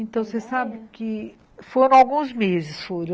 Então, você sabe que foram alguns meses, foram.